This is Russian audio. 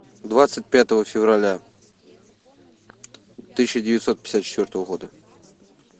двадцать пятого февраля тысяча девятьсот пятьдесят четвертого года